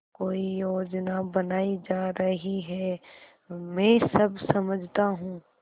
कोई योजना बनाई जा रही है मैं सब समझता हूँ